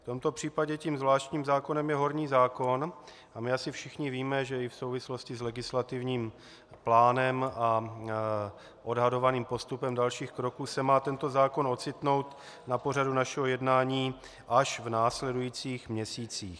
V tomto případě tím zvláštním zákonem je horní zákon - a my asi všichni víme, že i v souvislosti s legislativním plánem a odhadovaným postupem dalších kroků se má tento zákon ocitnout na pořadu našeho jednání až v následujících měsících.